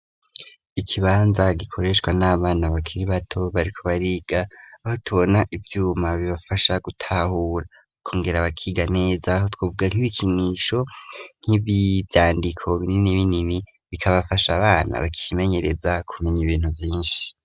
Ikibanza gikoreshwa n'abana bakiri bato, bariko bariga, aho tubona ivyuma bibafasha gutahura, bakongera bakiga neza, aho twovuga nk'ibikinisho, nk'ivyandiko binini binini, bigabafasha abana bacimenyereza kumenya ibintu vyinshi.